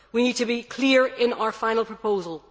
We need to be clear in our final proposal.